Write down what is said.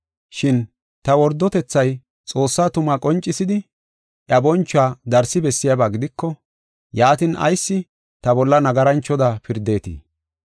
Shin ta wordotethay Xoossa tumaa qoncisidi, iya bonchuwa darsi bessiyaba gidiko, yaatin, ayis ta bolla nagaranchoda pirdeetii?